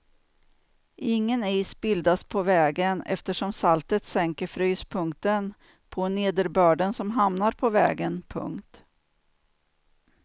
Ingen is bildas på vägen eftersom saltet sänker fryspunkten på nederbörden som hamnar på vägen. punkt